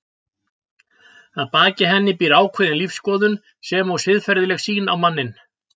Að baki henni býr ákveðin lífsskoðun sem og siðferðileg sýn á manninn.